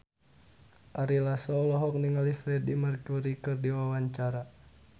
Ari Lasso olohok ningali Freedie Mercury keur diwawancara